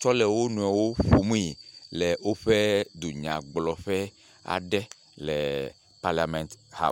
tsɔ le wo nɔewo ƒomee le woƒe dunyagblɔƒe aɖe le paliament haɔs.